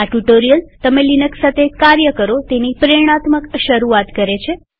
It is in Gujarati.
આ ટ્યુ્ટોરીઅલ તમે લિનક્સ સાથે કાર્ય કરો તેની પ્રેરણાત્મક શરૂઆત કરે છે